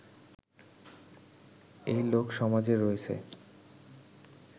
এই লোকসমাজের রয়েছে